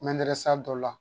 dɔ la